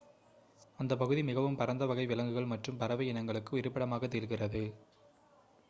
அந்த பகுதி மிகவும் பரந்த வகை விலங்குகள் மற்றும் பறவை இனங்களுக்கு இருப்பிடமாக திகழ்கிறது